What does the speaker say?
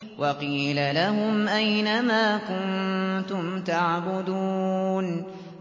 وَقِيلَ لَهُمْ أَيْنَ مَا كُنتُمْ تَعْبُدُونَ